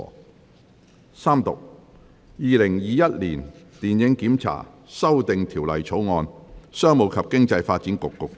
主席，我動議《2021年電影檢查條例草案》予以三讀並通過。